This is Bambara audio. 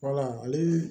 Wala ale